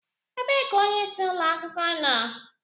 Ebee ka onyeisi ụlọ akwụkwọ nọ